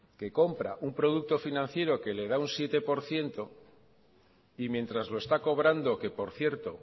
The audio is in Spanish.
que compra un producto financiera que le da un siete por ciento y mientras lo está cobrando que por cierto